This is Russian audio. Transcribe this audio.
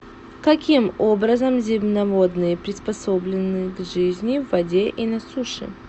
каким образом земноводные приспособлены к жизни в воде и на суше